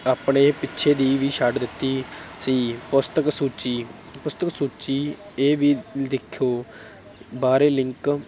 ਆਪਣੇ ਪਿੱਛੇ ਦੀ ਵੀ ਛੱਡ ਦਿੱਤੀ ਸੀ, ਪੁਸਤਕ ਸੂਚੀ, ਪੁਸਤਕ ਸੂਚੀ, ਇਹ ਵੀ ਦੇਖੋ ਬਾਹਰੇ link